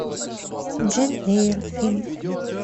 джейн эйр фильм